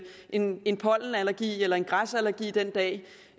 en en pollenallergi eller en græsallergi den dag